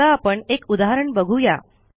आता आपण एक उदाहरण बघू या